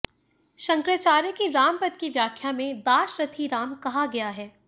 शंकराचार्य की रामपद की व्याख्या में दाशरथि राम कहा गया है